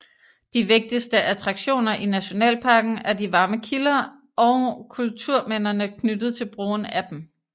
De vigtigste attraktioner i nationalparken er de varme kilder og kulturminderne knyttet til brugen af dem